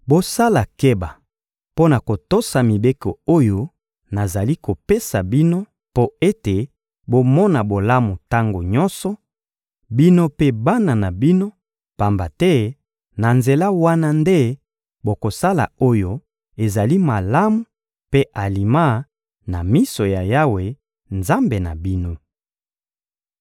Bosala keba mpo na kotosa mibeko oyo nazali kopesa bino mpo ete bomona bolamu tango nyonso, bino mpe bana na bino, pamba te na nzela wana nde bokosala oyo ezali malamu mpe alima na miso ya Yawe, Nzambe na bino.